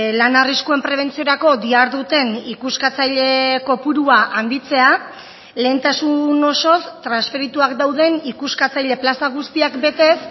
lan arriskuen prebentziorako diharduten ikuskatzaile kopurua handitzea lehentasun osoz transferituak dauden ikuskatzaile plaza guztiak betez